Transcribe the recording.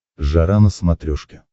жара на смотрешке